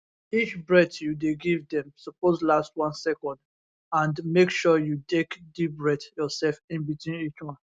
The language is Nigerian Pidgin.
each breath you dey give dem suppose last 1 second and make sure you take deep breath yourself in between each one